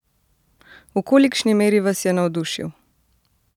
V kolikšni meri vas je navdušil?